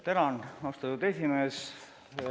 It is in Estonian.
Tänan, austatud esimees!